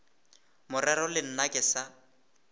morero le nna ke sa